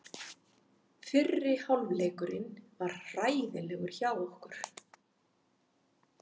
Fyrri hálfleikurinn var hræðilegur hjá okkur.